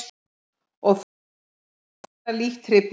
Og þó voru margir læknar lítt hrifnir.